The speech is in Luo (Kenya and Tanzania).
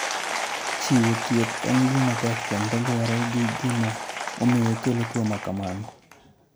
Chiwo thieth en gima tek kendo luwore gi gima omiyo okelo tuo ma kamano.